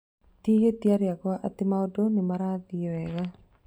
Tihĩtia rĩakwa atĩ maũndũ nĩmarathie wega